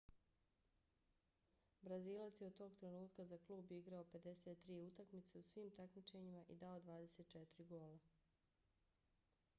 brazilac je od tog trenutka za klub igrao 53 utakmice u svim takmičenjima i dao 24 gola